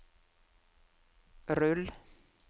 rull